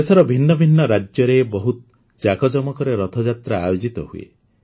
ଦେଶର ଭିନ୍ନ ଭିନ୍ନ ରାଜ୍ୟରେ ବହୁତ ଯାକଜକମରେ ରଥଯାତ୍ରା ଆୟୋଜିତ ହୁଏ